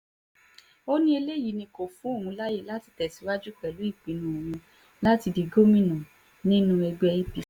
ó ní eléyìí ni kó fún òun láàyè láti tẹ̀síwájú pẹ̀lú ìpinnu òun láti di gómìnà nínú ẹgbẹ́ apc